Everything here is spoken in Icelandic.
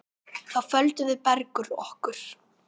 Þá földum við Bergur okkur.